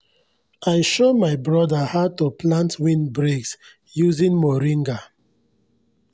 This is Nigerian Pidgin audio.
i show my broda how to plant windbreaks using moringa